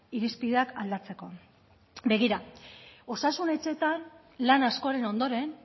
irizpideak aldatzeko begira osasun etxeetan lan askoren ondoren